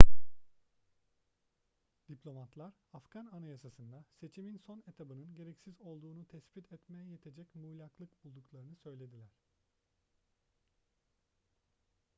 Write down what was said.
diplomatlar afgan anayasasında seçimin son etabının gereksiz olduğunu tespit etmeye yetecek muğlaklık bulduklarını söylediler